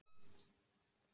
Ef ég bauð þér upp í dans